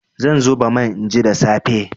Zan zuba man inji da safe.